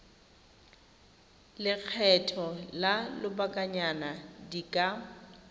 lekgetho la lobakanyana di ka